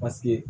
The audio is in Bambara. Paseke